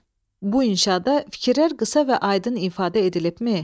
Bu inşa da fikirlər qısa və aydın ifadə edilibmi?